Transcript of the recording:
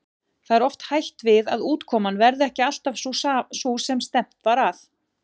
Það er oft hætt við að útkoman verði ekki alltaf sú er stefnt var að.